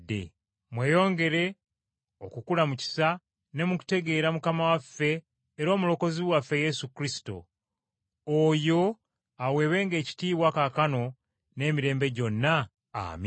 Mweyongere okukula mu kisa ne mu kutegeera Mukama waffe era Omulokozi waffe Yesu Kristo. Oyo aweebwenga ekitiibwa kaakano n’emirembe gyonna. Amiina.